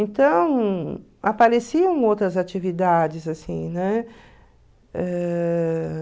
Então, apareciam outras atividades, assim, né? Ãh...